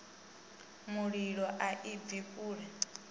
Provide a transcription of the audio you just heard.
mulilo a i bvi kule